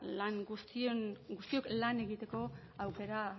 guztiok lan egiteko aukera